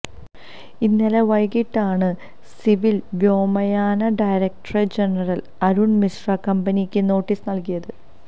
ഇന്നലെ വൈകിട്ടാണ് സിവില് വ്യോമയാന ഡയറക്ടര് ജനറല് അരുണ് മിശ്ര കമ്പനിക്ക് നോട്ടീസ് നല്കിയത്